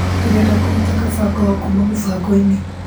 Ndĩrenda kũruta kabangoho kuma mũbango-inĩ